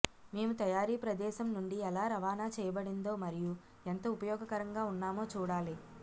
మేము తయారీ ప్రదేశం నుండి ఎలా రవాణా చేయబడిందో మరియు ఎంత ఉపయోగకరంగా ఉన్నామో చూడాలి